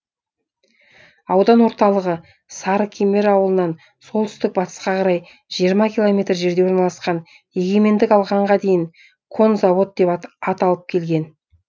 аудан орталығы сарыкемер ауылынан солтүстік батысқа қарай жиырма километр жерде орналасқан егемендік алғанға дейін конзавод деп аталып келген